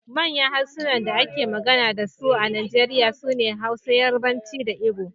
Manyan harsunan da ake magana da su a Najeriya sune Hausa, Yarbanci da Igbo